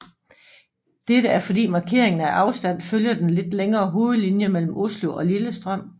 Dette er fordi markeringen af afstand følger den lidt længere hovedlinje mellem Oslo og Lillestrøm